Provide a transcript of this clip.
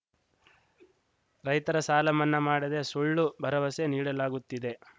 ರೈತರ ಸಾಲ ಮನ್ನಾ ಮಾಡದೆ ಸುಳ್ಳು ಭರವಸೆ ನೀಡಲಾಗುತ್ತಿದೆ